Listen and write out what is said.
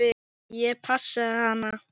Ég passaði hana.